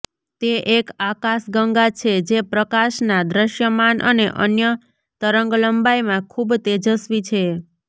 તે એક આકાશગંગા છે જે પ્રકાશના દૃશ્યમાન અને અન્ય તરંગલંબાઇમાં ખૂબ તેજસ્વી છે